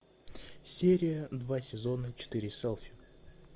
серия два сезона четыре селфи